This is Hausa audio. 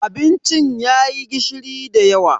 Abincin yayi gishiri dayawa.